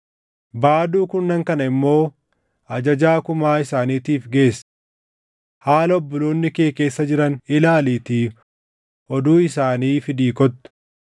Baaduu kurnan kana immoo ajajaa kumaa isaaniitiif geessi. Haala obboloonni kee keessa jiran ilaaliitii oduu isaanii fidii kottu.